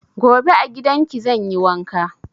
Gobe a gidan ki zan yi wanka.